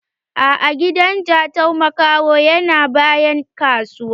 A'a, hidan Jatau makaho yana bayan kasuwa.